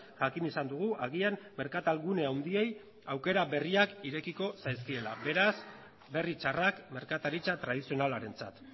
jakin izan dugu agian merkatal gune handiei aukera berriak irekiko zaizkiela beraz berri txarrak merkataritza tradizionalarentzat